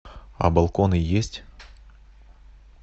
а балконы есть